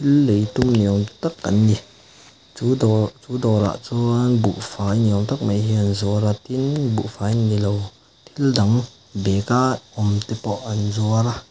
thil lei tum ni awm tak an ni chu dawr chu dawr ah chuan buhfai ni awm tak mai hi an zuar a tin buhfai nilo thil dang bag a awm te pawh an zuar a.